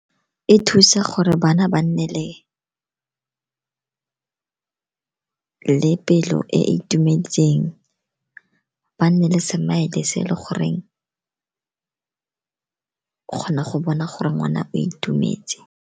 E thusa gore bana ba nne le pelo e e itumetseng, ba nne le smile-e se le goreng o kgona go bona gore ngwana o itumetse.